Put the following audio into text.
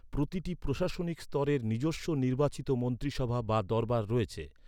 প্রতিটি প্রশাসনিক স্তরের নিজস্ব নির্বাচিত মন্ত্রিসভা বা দরবার রয়েছে।